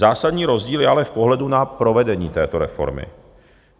Zásadní rozdíl je ale v pohledu na provedení této reformy.